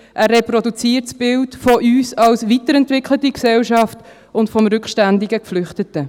Er reproduziert das Bild von uns als weiterentwickelte Gesellschaft und vom rückständigen Geflüchteten.